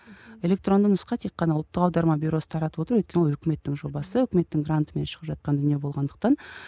электронды нұсқа тек қана ұлттық аударма бюросы тарататып отыр өйткені ол өкіметтің жобасы өкіметтің грантымен шығып жатқан дүние болғандықтан